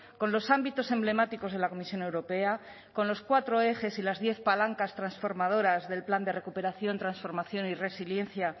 con los ámbitos emblemáticos de la comisión europea con los cuatro ejes y las diez palancas transformadoras del plan de recuperación transformación y resiliencia